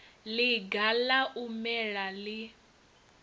ḽiga ḽa u mela ḽi